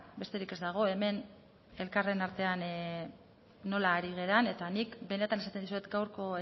besterik ez dago hemen elkarren artean nola ari garen eta nik benetan esaten dizuet gaurko